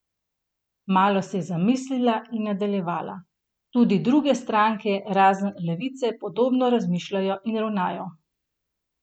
Malo se je zamislila in nadaljevala: "Tudi druge stranke, razen Levice, podobno razmišljajo in ravnajo.